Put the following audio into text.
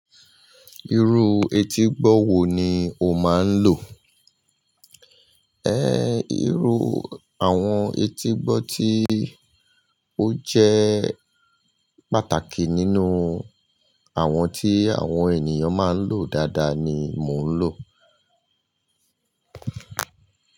Irú etígbọ́ wo ni o máa ń lò? Ehn irú àwọn etígbọ́ tí ó jẹ́ pàtàkì nínú àwọn tí àwọn ènìyàn máa ń lò dáadáa ni mò ń lò.